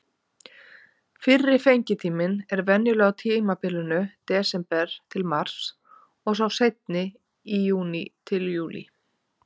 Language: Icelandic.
Fyrri fengitíminn er venjulega á tímabilinu desember-mars og sá seinni í júní-júlí.